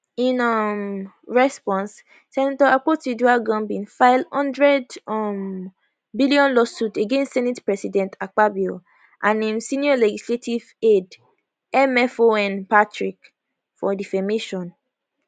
in um response senator akpotiuduaghan bin file one hundred um billion lawsuit against senate president akpabio and im senior legislative aide mfon patrick for defamation